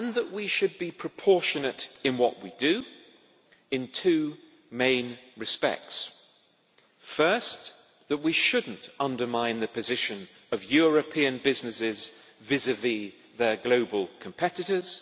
We should be proportionate in what we do in two main respects first, we should not undermine the position of European businesses vis vis their global competitors